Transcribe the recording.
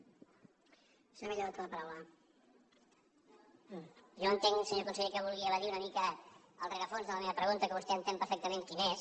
jo entenc senyor conseller que vulgui evadir una mica el rerefons de la meva pregunta que vostè entén perfectament quin és